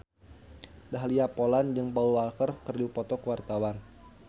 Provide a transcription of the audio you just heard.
Dahlia Poland jeung Paul Walker keur dipoto ku wartawan